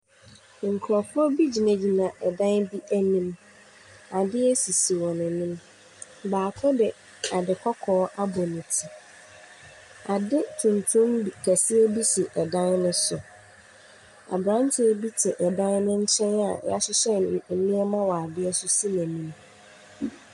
Nkurɔfoɔ bi gyinagyina dan bi anim. Adeɛ sisi wɔn anim. Baako de ade kɔkɔɔ abɔ ne ti. Ade tuntum bi kɛseɛ bi si dan no so. Aberanteɛ bi te dan no nkyɛn a wahyehyɛ n nneɛma wɔ adeɛ so si n'anim.